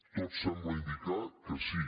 tot sembla indicar que sí